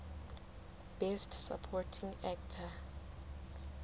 best supporting actor